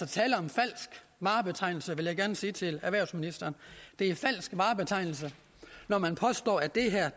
tale om falsk varebetegnelse vil jeg gerne sige til erhvervsministeren det er falsk varebetegnelse når man påstår at det her